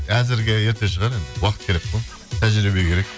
әзірге ерте шығар енді уақыт керек қой тәжірибе керек